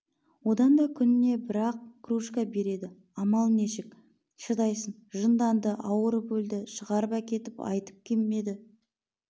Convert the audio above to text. одан да күніне бір-ақ кружка береді амал нешік шыдайсың жынданды ауырып өлді шығарып әкетіп айтып келмеді